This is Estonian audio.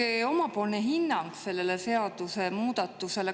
Andke oma hinnang sellele seadusemuudatusele.